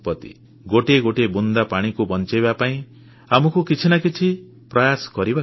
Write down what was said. ଗୋଟିଏ ଗୋଟିଏ ବୁନ୍ଦା ପାଣିକୁ ବଞ୍ଚାଇବା ପାଇଁ ଆମକୁ କିଛି ନା କିଛି ପ୍ରୟାସ କରିବାକୁ ପଡ଼ିବ